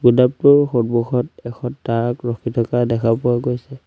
গুদামটোৰ সন্মুখত এখন ট্ৰাক ৰখি থকা দেখা পোৱা গৈছে।